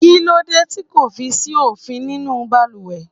Kí lóde tì kò fi sí omi nínú baluwe?